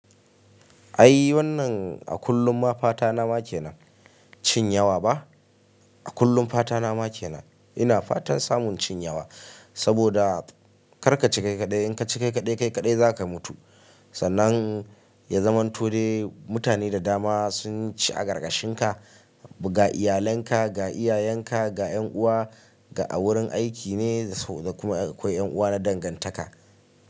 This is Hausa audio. Ai wannan a kullum ma fata na ma kena cin yawa ba? A kullum fata na ma kena. Ina fatan samun cin yawa. Saboda kar ka ci kai kaɗai, in ka ci kai kaɗai, kai kaɗai za ka mutu. Sannan ya zamanto dai mutane da dama sun ci a karkashin ka, ga iyalanka, ga iyayenka, ga yan uwa, ga a wurin aiki ne kuma akwai yan uwa na dangantaka.